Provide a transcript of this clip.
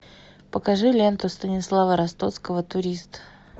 покажи ленту станислава ростоцкого турист